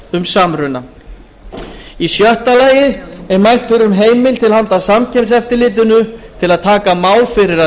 um samruna í sjötta lagi er mælt fyrir um heimild til handa samkeppniseftirlitinu til að taka mál fyrir að